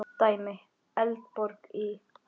Dæmi: Eldborg í